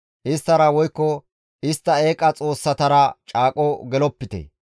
Isttara woykko istta eeqa xoossatara caaqon gelopite.